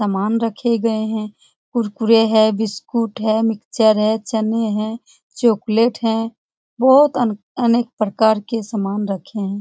समान रखे गए हैं कुरकुरे है बिस्कुट है मिक्चर है चने हैं चॉकलेट है । बहोत अनेक प्रकार के समान रखे हैं।